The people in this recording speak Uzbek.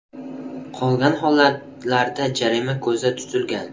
Qolgan holatlarda jarima ko‘zda tutilgan.